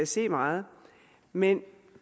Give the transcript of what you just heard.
se meget men